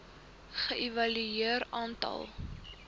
ge evalueer aantal